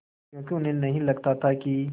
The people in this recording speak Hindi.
क्योंकि उन्हें नहीं लगता था कि